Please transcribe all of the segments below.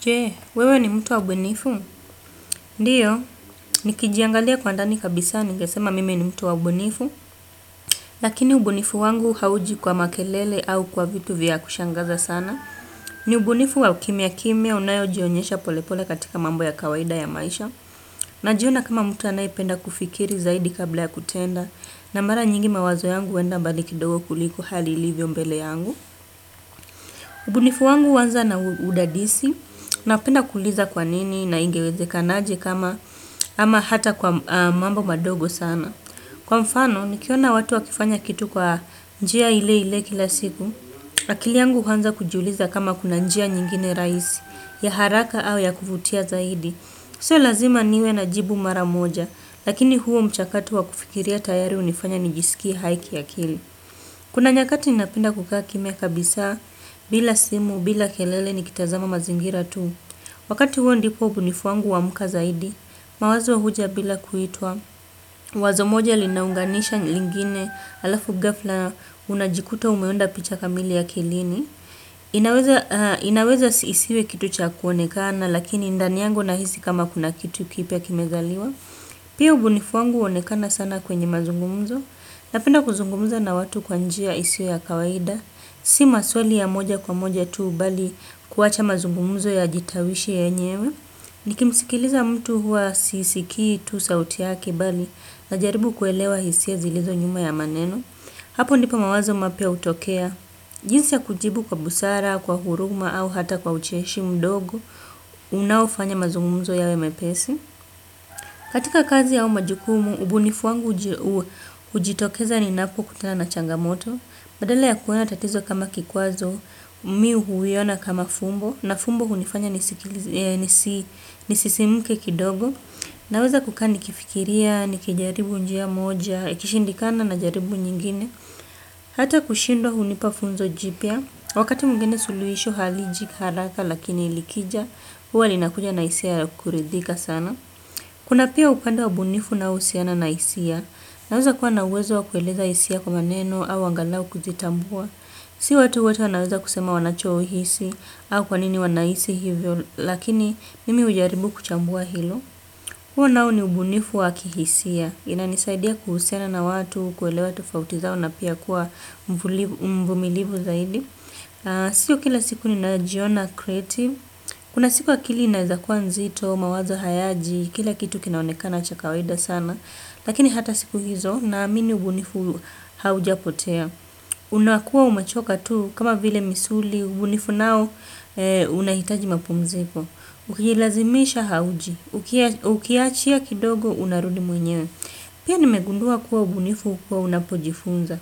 Je, wewe ni mtu wa ubunifu? Ndiyo, ni kijiangalia kwa ndani kabisa, ningesema mimi ni mtu wa ubunifu. Lakini ubunifu wangu hauji kwa makelele au kwa vitu vya kushangaza sana. Ni ubunifu wa ukimia kimia unayo jionyesha polepole katika mambo ya kawaida ya maisha. Najiona kama mtu anayependa kufikiri zaidi kabla ya kutenda. Na mara nyingi mawazo yangu huenda mbalikidogo kuliko hali ilivyo mbele yangu. Ubunifu wangu huanza na udadisi. Na penda kuuliza kwa nini na ingeweze kanaje kama ama hata kwa mambo madogo sana. Kwa mfano, nikiona watu wakifanya kitu kwa njia ile ile kila siku. Akiliyangu huanza kujiuliza kama kuna njia nyingine rahisi ya haraka au ya kuvutia zaidi. Sio lazima niwe na jibu maramoja. Lakini huo mchakato wakufikiria tayari hunifanya nijisikie haiki a kili. Kuna nyakati ninapenda kukaakimia kabisa bila simu bila kelele nikitazama mazingira tu. Wakati huo ndipo ubunifuwanguhu auka zaidi, mawazo huja bila kuitwa, wazo moja linaunganisha lingine alafu gafla unajikuta umeunda picha kamili a kilini. Inaweza isiwe kitu cha kuonekana, lakini ndaniyangu na hisi kama kuna kitu kipya kimezaliwa. Pia ubunifuwangu huonekana sana kwenye mazungumzo, napenda kuzungumza na watu kwanjia isiyo ya kawaida. Si maswali ya moja kwa moja tuu bali kuwacha mazungumzo ya jitawishi yenyewe. Nikimsikiliza mtu huwa sisikii tuu sauti yake bali na jaribu kuelewa hisia zilizo nyuma ya maneno. Hapo ndipo mawazo mapya hutokea. Jinsi ya kujibu kwa busara, kwa huruma au hata kwa ucheshi mdogo, unaofanya mazungumzo yawe mepesi. Katika kazi a umajukumu, ubunifuwangu hujitokeza ni napoku kutana na changamoto. Badala ya kuona tatizo kama kikwazo, mimi huiona kama fumbo, na fumbo hunifanya nisisimuke kidogo. Naweza kukani kifikiria, nikijaribu njia moja, ikishindikana na jaribu nyingine. Hata kushindwa hunipafunzo jipya, wakati mwingine suluhisho haliji haraka lakini likija, huwa linakuja na hisiayakuridhika sana. Kuna pia ukanda waubunifu unao husiana na hisia, naweza kuwa nauweza wakueleza hisia kwa maneno au angalau kuzitambua. Si watu wote wanaweza kusema wanachohisi au kwanini wanahisi hivyo, lakini mimi hujaribu kuchambua hilo. Huo nao ni ubunifu wakihisia, inanisaidia kuhusiana na watu, kuelewa tofautizao na pia kuwa mvumilivu zaidi. Sio kila siku ni najiona creative. Kuna siku akili inawezakuwa nzito, mawazo hayaji, kila kitu kinaonekana chakawaida sana. Lakini hata siku hizo na amini ubunifu haujapotea. Unakuwa umechoka tu kama vile misuli, ubunifu nao unahitaji mapumziko. Ukilazimisha hauji, ukiachia kidogo unarudi mwenyewe. Pia nimegundua kuwa ubunifu hukua unapojifunza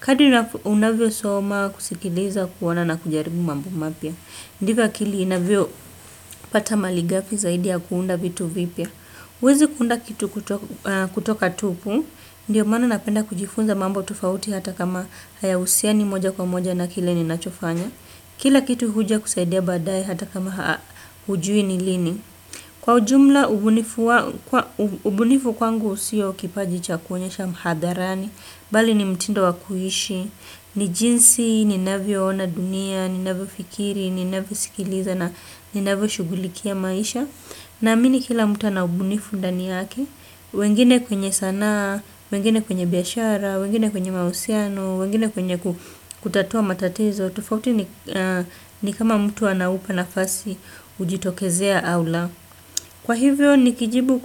kadri unavyo soma kusikiliza kuona na kujaribu mambo mapya. Ndivyo akili inavyo pata malighafi zaidi ya kuunda vitu vipya. Huwezi kuunda kitu kutoka tupu. Ndiyo maana napenda kujifunza mambo tofauti hata kama haya husiani moja kwa moja na kile ni nachofanya. Kila kitu huja kusaidia baadaye hata kama hujui ni lini. Kwa ujumla, ubunifu kwangu sio kipaji chakuonyesha hadharani. Bali ni mtindo wakuishi, ni jinsi, ni navyo ona dunia, ni navyo fikiri, ni navyo sikiliza na ni navyo shughulikia maisha na amini kila mtu ana ubunifu ndani yake, wengine kwenye sanaa, wengine kwenye biashara, wengine kwenye mahusiano wengine kwenye kutatua matatizo, tofauti ni kama mtu anaupa na fasi hujitokezea aula. Kwa hivyo ni kijibu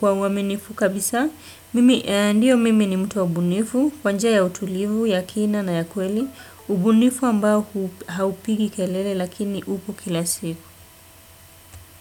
kwa uaminifu kabisa, mimi ndiyo mimi ni mtuwa ubunifu, kwanjia ya utulivu, ya kina na ya kweli, ubunifu ambao haupigi kelele lakini upo kila siku.